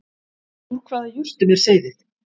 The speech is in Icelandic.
Úr hvaða jurtum er seyðið